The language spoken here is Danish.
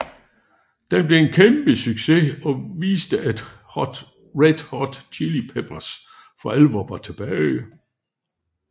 Den blev en kæmpe succes og viste at Red Hot Chili Peppers for alvor var tilbage